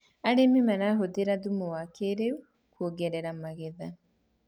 arĩmi marahuthira thumu wa kĩiriu kuongerera magetha